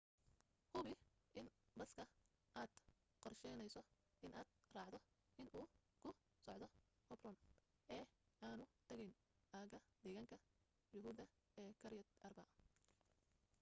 hubi in baska aad qorshaynayso inaad raacdo inuu ku socdo hebron ee aanu tegayn aaga deegaanka yuhuudda ee kiryat arba